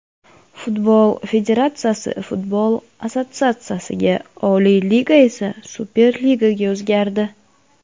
Futbol federatsiyasi, futbol assotsiatsiyasiga, Oliy Liga esa Superligaga o‘zgardi.